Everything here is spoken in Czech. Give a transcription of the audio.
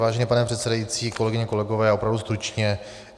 Vážený pane předsedající, kolegyně, kolegové, opravdu stručně.